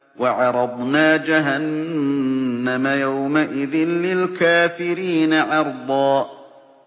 وَعَرَضْنَا جَهَنَّمَ يَوْمَئِذٍ لِّلْكَافِرِينَ عَرْضًا